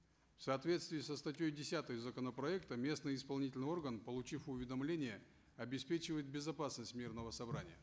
в соответствии со статьей десятой законопроекта местный исполнительный орган получив уведомление обеспечивает безопасность мирного собрания